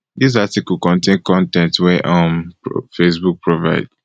dis article contain con ten t wey um facebook provide